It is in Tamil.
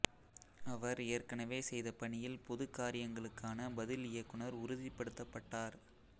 அவர் ஏற்கனவே செய்த பணியில் பொதுக் காரியங்களுக்கான பதில்இயக்குநர் உறுதிப்படுத்தப்பட்டார்